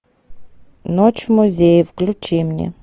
ночь в музее включи мне